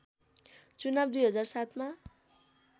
चुनाव २००७ मा